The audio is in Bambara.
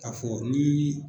Ka fɔ nii